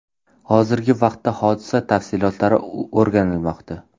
Hozirgi vaqtda hodisa tafsilotlari o‘rganilmoqda.